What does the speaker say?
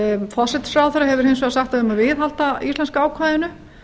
forsætisráðherra hefur hins vegar sagt að við eigum að viðhalda íslenska ákvæðinu